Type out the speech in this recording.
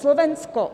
Slovensko.